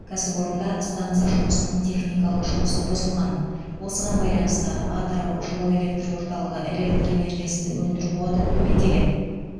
кәсіпорында станса жұмысының техникалық жұмысы бұзылған осыған байланысты атырау жылу электр орталығы электр энергиясын өндіру қуаты төмендеген